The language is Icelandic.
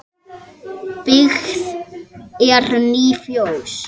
Byggð eru ný fjós.